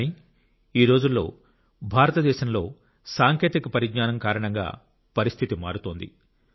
కానీ ఈరోజుల్లో భారతదేశంలో సాంకేతిక పరిజ్ఞానం కారణంగా పరిస్థితి మారుతోంది